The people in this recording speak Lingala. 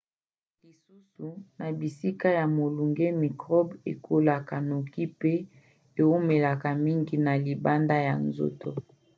lisusu na bisika ya molunge mikrobe ekolaka noki pe eumelaka mingi na libanda ya nzoto